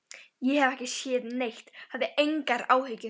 Ég hef ekki séð neitt, hafðu engar áhyggjur.